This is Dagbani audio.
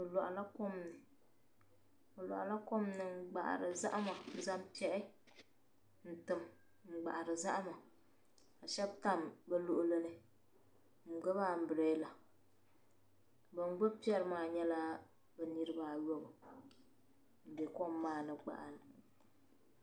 Bɛ lɔhi la. kom ni. bilɔhila kom ni ngbahiri zahima. n zaŋ pɛri n. tim ni gbahiri zahima. ka shab tam bi luɣili ni. n gbubi am birela bi n gbubi pɛri maa nyala, bi niriba ayobu m bɛ kom maani. n gbahiri zahim, maa.